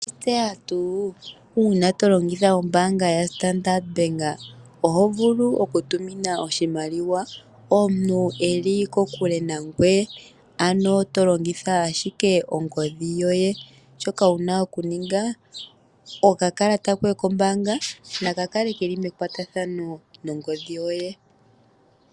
Oweshi tseya tuu uuna to longitha ombaanga yaStandard Bank oho vulu oku tumina oshimaliwa omuntu eli kokule nangoye, ano to longitha ashike ongodhi yoye. Shoka wuna okuninga, okakalata koye kombaanga naka kale keli mekwatathano nongodhi yoye.